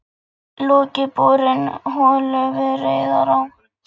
Lokið borun holu við Rauðará í